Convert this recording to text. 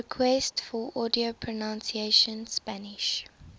requests for audio pronunciation spanish